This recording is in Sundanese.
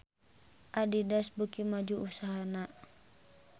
Adidas beuki maju usahana